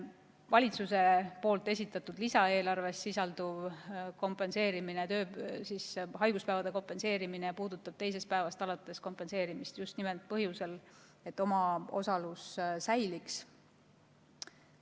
Valitsuse esitatud lisaeelarves sisalduv haiguspäevade kompenseerimise meede puudutab teisest päevast alates kompenseerimist just nimelt põhjusel, et omaosalus säiliks.